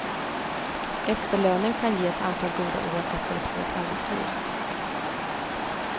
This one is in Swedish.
Efterlönen kan ge ett antal goda år efter ett hårt arbetsliv.